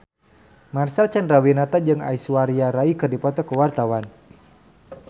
Marcel Chandrawinata jeung Aishwarya Rai keur dipoto ku wartawan